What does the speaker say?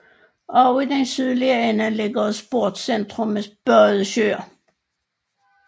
Også i den sydlige ende ligger et Sportcentrum med badesøer